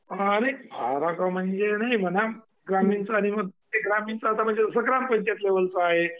हा आणि फरक म्हणजे नाही म्हणा ग्रामीणचं आता म्हणजे ग्रामपंचायत लेवलचं आहे.